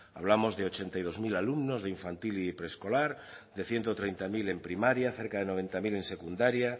hablamos de ochenta y dos mil alumnos de infantil y preescolar de ciento treinta mil en primaria cerca de noventa mil en secundaria